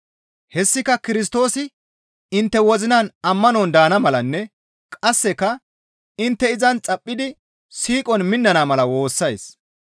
Hessika Kirstoosi intte wozinan ammanon daana malanne qasseka intte izan xaphidi siiqon minnana mala woossays.